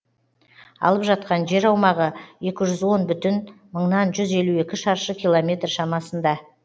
алып жатқан жер аумағы екі жүз он бүтін мыңнан жүз елу екі шаршы километр шамасында